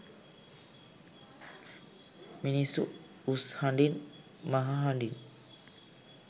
මිනිස්සු උස් හඬින් මහහඬින්